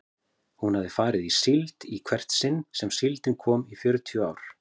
Hún hafði farið í síld í hvert sinn sem síldin kom í fjörutíu ár.